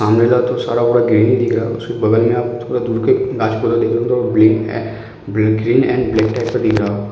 सामने का तो सारा पूरा ग्रीन ही दिख रहा है। उसके बगल में आप थोड़ा दूर का ग्रीन एंड ब्लैक टाइप में दिख रहा होगा।